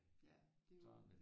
Ja det er jo